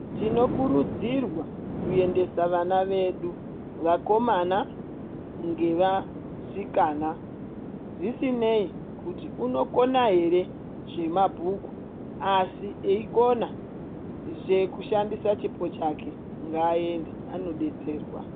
Tinokurudzirwa kuendesa vana vedu, vakomana ngevasikana. Zvisinei kuti unokona here zvemabhuku, asi eikona zvekushandise chipo chake ngaaende anodetserwa.